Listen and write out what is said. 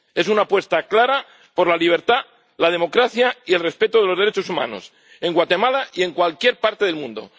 Es una apuesta clara por la libertad, la democracia y el respeto de los derechos humanos en Guatemala y en cualquier parte del mundo.